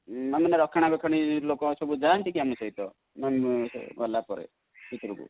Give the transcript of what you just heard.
ମାନେ ରକ୍ଷଣାବେକ୍ଷଣ ଲୋକ ସବୁ ଯାନ୍ତି କି ଆମ ସହିତ ଗଲାପରେ ଭିତରକୁ?